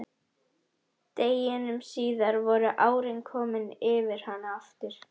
Deginum síðar voru árin komin yfir hana aftur.